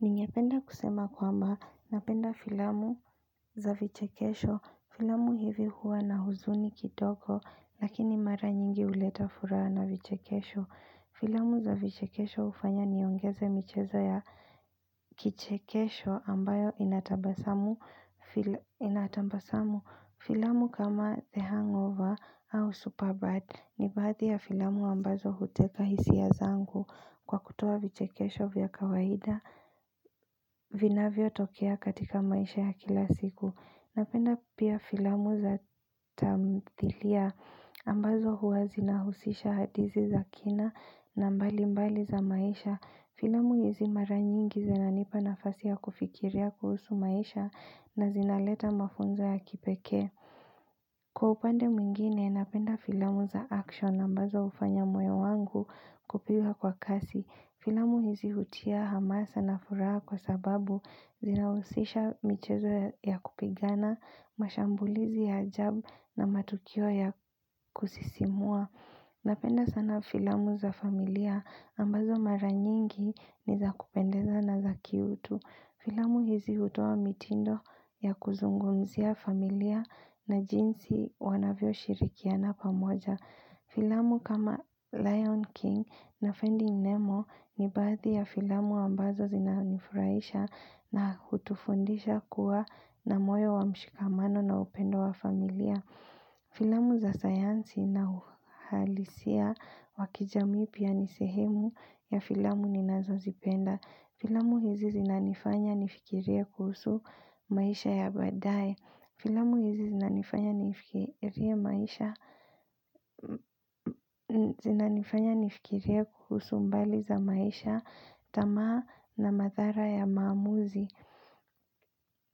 Ningependa kusema kwamba napenda filamu za vichekesho. Filamu hizi huwa na huzuni kidogo lakini mara nyingi huleta furaha na vichekesho. Filamu za vichekesho hufanya niongeze michezo ya kichekesho ambayo inatambasamu filamu kama The Hangover au Superbird ni baadhi ya filamu ambazo huteka hisia zangu kwa kutoa vichekesho vya kawahida. Vinavyotokea katika maisha ya kila siku Napenda pia filamu za tamthilia ambazo huwa zinahusisha hadithi za kina na mbali mbali za maisha Filamu hizi mara nyingi zinanipa nafasi ya kufikiria kuhusu maisha na zinaleta mafunzo ya kipeke Kwa upande mwingine, napenda filamu za action ambazo ufanya moyo wangu kupiwa kwa kasi Filamu hizi hutia hamasa na furaha kwa sababu zinausisha michezo ya kupigana, mashambulizi ya ajab na matukio ya kusisimua. Napenda sana filamu za familia ambazo mara nyingi ni za kupendeza na za kiutu. Filamu hizi hutoan mitindo ya kuzungumzia familia na jinsi wanavyo shirikiana pamoja. Filamu kama Lion King na Fending Nemo ni baadhi ya filamu ambazo zinanifuraisha na hutufundisha kuwa na moyo wa mshikamano na upendo wa familia. Filamu za sayansi na uhalisia waki jamii pia nisehemu ya filamu ninazo zipenda. Hizi zinanifanya nifikiria kuhusu maisha ya baadaye. Filamu hizi zinanifanya nifikirie kuhusu mbali za maisha tamaa na mathara ya maamuzi.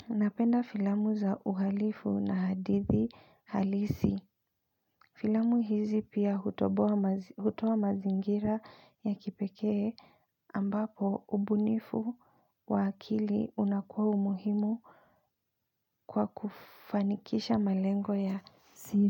Napenda filamu za uhalifu na hadithi halisi. Filamu hizi pia hutoa mazingira ya kipekee ambapo ubunifu wa akili unakuwa umuhimu kwa kufanikisha malengo ya siri.